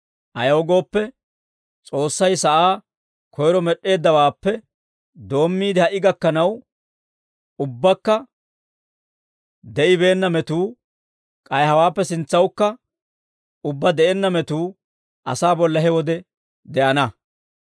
ayaw gooppe, S'oossay sa'aa koyro med'd'eeddawaappe doommiide, ha"i gakkanaw, ubbakka de'ibeenna metuu, k'ay hawaappe sintsawukka ubbaa de'enna metuu asaa bolla he wode de'ana.